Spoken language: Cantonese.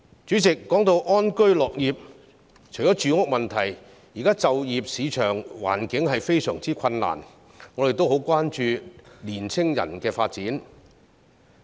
主席，談到安居樂業，除了住屋問題，現時就業市場環境非常困難，我們也很關注青年人的發展。